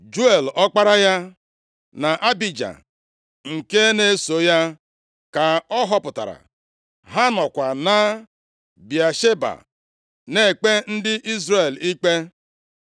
Juel, ọkpara ya, na Abija, nke na-eso ya ka ọ họpụtara. Ha nọkwa na Bịasheba na-ekpe ndị Izrel ikpe.